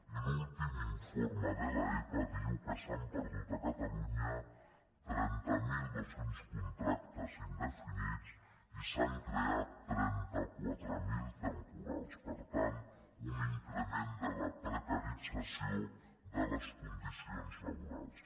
i l’últim informe de l’epa diu que s’han perdut a catalunya trenta mil dos cents contractes indefinits i se n’han creat trenta quatre mil de temporals per tant un increment de la precarització de les condicions laborals